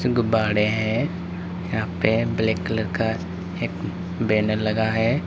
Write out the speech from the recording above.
गुब्बारे हैं यहां पे ब्लैक कलर का एक बैनर लगा है।